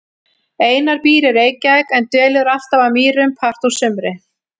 Einar býr í Reykjavík en dvelur alltaf að Mýrum part úr sumri.